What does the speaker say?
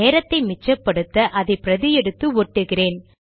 நேரத்தை மிச்சப்படுத்த அதை பிரதி எடுத்து ஒட்டுகிறேன்